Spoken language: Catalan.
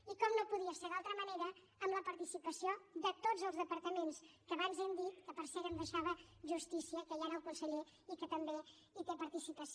i com no podia ser d’altra manera amb la participació de tots els departaments que abans hem dit que per cert m’hi he deixat justícia que hi ha ara el conseller i que també hi té participació